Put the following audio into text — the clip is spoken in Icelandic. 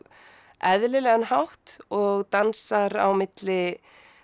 eðlilegan hátt og dansar á milli